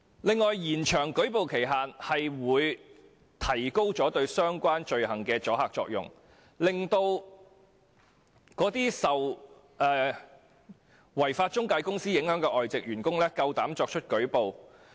此外，延長舉報期限會提高對相關罪行的阻嚇作用，令這些受違法中介公司影響的外籍員工敢於舉報。